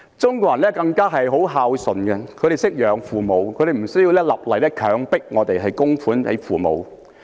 中國人更是十分孝順，他們懂得供養父母，不需要政府立例強迫他們供養父母。